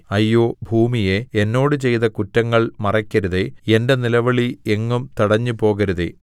അയ്യോ ഭൂമിയേ എന്നോട് ചെയ്ത കുറ്റങ്ങള്‍ മറയ്ക്കരുതേ എന്റെ നിലവിളി എങ്ങും തടഞ്ഞുപോകരുതേ